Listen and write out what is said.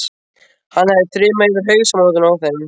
Hann hefði þrumað yfir hausamótunum á þeim.